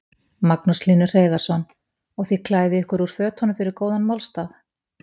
Magnús Hlynur Hreiðarsson: Og þið klæðið ykkur úr fötunum fyrir góðan málstað?